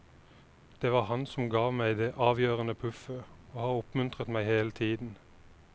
Det var han som ga meg det avgjørende puffet og har oppmuntret meg hele tiden.